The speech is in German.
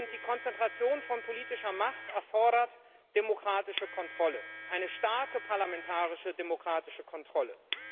Die Konzentration von politischer Macht erfordert demokratische Kontrolle eine starke parlamentarische, demokratische Kontrolle.